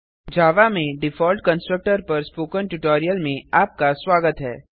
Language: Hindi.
javaजावा में डिफॉल्ट कंस्ट्रक्टर पर स्पोकन ट्यूटोरियल में आपका स्वागत है